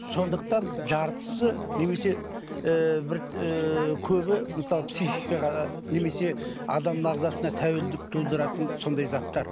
сондықтан жартысы немесе ыыы бір ы көбі мысалы психикаға немесе адамның ағзасына тәуелділік тудыратын сондай заттар